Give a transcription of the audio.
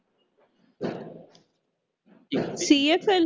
CFL